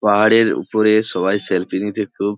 পাহাড়ের ওপরে সবাই সেলফি নিতে খুব --